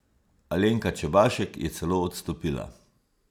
Alenka Čebašek je celo odstopila.